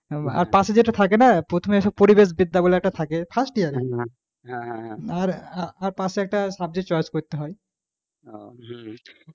আর পাশে যেটা থাকে না প্রথমে পরিবেশ বিদ্যা বলে একটা থাকে first year এ আর পাশে একটা subject choice করতে হয়,